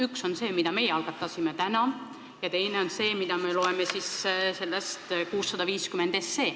Üks on see, mille meie algatasime, ja teine on see, mida me loeme sellest eelnõust 650.